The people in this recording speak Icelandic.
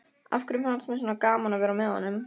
Af hverju fannst mér svona gaman að vera með honum?